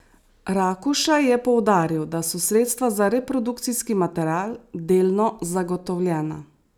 Rakuša je poudaril, da so sredstva za reprodukcijski material delno zagotovljena.